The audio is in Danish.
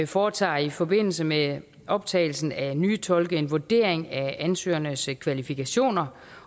foretager i forbindelse med optagelsen af nye tolke en vurdering af ansøgernes kvalifikationer